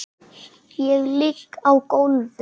Ég ligg á gólfi.